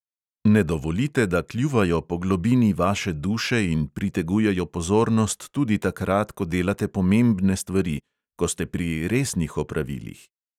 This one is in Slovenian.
Ne dovolite, da kljuvajo po globini vaše duše in pritegujejo pozornost tudi takrat, ko delate pomembne stvari, ko ste pri resnih opravilih.